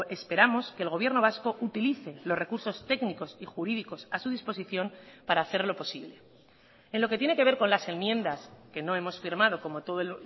esperamos que el gobierno vasco utilice los recursos técnicos y jurídicos a su disposición para hacerlo posible en lo que tiene que ver con las enmiendas que no hemos firmado como todos